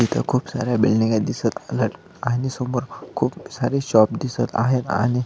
इथ खूप साऱ्या बिल्डिंगा दिसत आहे आणि समोर खूप सारे शॉप दिसत आहे आणि--